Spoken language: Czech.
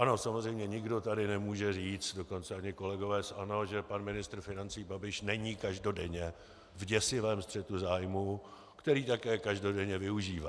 Ano, samozřejmě, nikdo tady nemůže říct, dokonce ani kolegové z ANO, že pan ministr financí Babiš není každodenně v děsivém střetu zájmů, který také každodenně využívá.